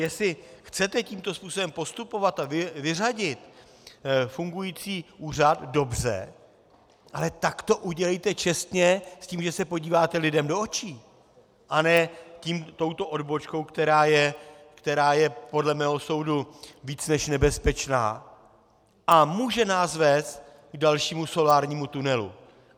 Jestli chcete tímto způsobem postupovat a vyřadit fungující úřad - dobře, ale tak to udělejte čestně s tím, že se podíváte lidem do očí, a ne touto odbočkou, která je podle mého soudu víc než nebezpečná a může nás vést k dalšímu solárnímu tunelu.